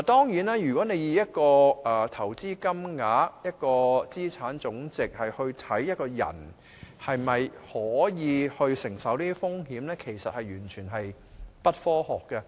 如果你以投資金額、資產總值來衡量一個人能否承受這些風險，其實完全不科學。